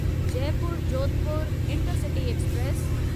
Jaipur Jodhpur intercity express